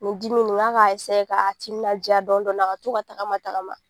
N ko dimi ni n k'a ka ka timinajaa dɔɔni dɔɔni a ka to ka tagama tagama.